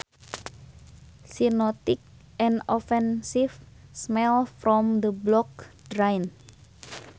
She noticed an offensive smell from the blocked drain